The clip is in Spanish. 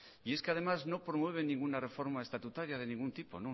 y es que además no promueve ninguna reforma estatutaria de ningún tipo